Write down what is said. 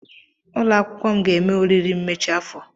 Ụlọ akwụkwọ m ga-eme oriri mmechi afọ.